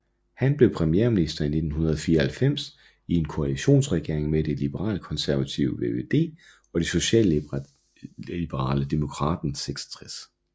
Han blev premierminister i 1994 i en koalitionsregering med det liberalkonservative VVD og det socialliberale Democraten 66